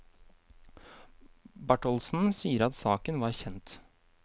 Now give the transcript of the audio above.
Bartholdsen sier at saken var kjent.